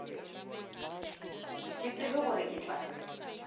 ke tsebe gore ke tla